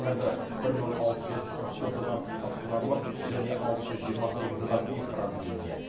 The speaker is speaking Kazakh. қазір бір мың алты жүз қырық төрт адам стационарлық және алты жүз жиырма сегіз адам үй карантинінде